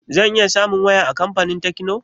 Zan iya samun waya a kamfanin tekno?